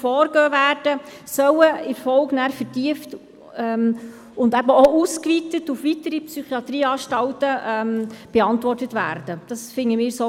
Wir empfehlen Ihnen einstimmig, diesen Kredit anzunehmen und zu sprechen, und unsere Fraktion unterstützt dies selbstverständlich auch.